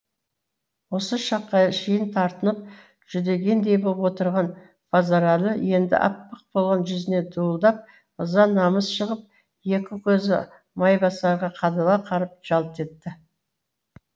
осы шаққа шейін тартынып жүдегендей боп отырған базаралы енді аппақ болған жүзіне дуылдап ыза намыс шығып екі көзі майбасарға қадала қарап жалт етті